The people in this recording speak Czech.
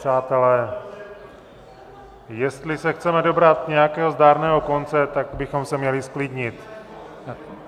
Přátelé, jestli se chceme dobrat nějakého zdárného konce, tak bychom se měli zklidnit.